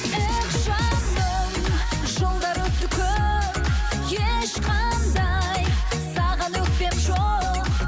эх жаным жылдар өтті көп ешқандай саған өкпем жоқ